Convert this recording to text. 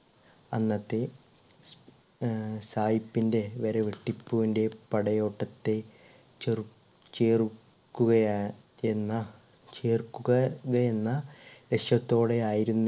അന്നത്തെ ആഹ് സായിപ്പിന്റെ വരെ ടിപ്പുവിന്റെ പടയോട്ടത്തെ ചെറു ചേർ ക്കുക എന്ന ചേർക്കുക കയെന്ന ലക്ഷ്യത്തോടെ ആയിരുന്നു